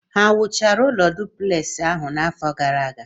Ha wuchara ụlọ dupleksi ahụ n'afọ gara aga?